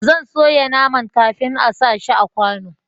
zan soya naman kafin a sa shi a kwano